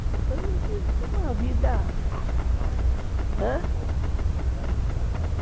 Então eu tive uma vida... Qual que era a especialidade do casal?